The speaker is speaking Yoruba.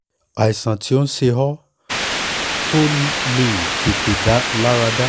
àìsàn tó ń ṣe ọ́ tó ò lè tètè lára dá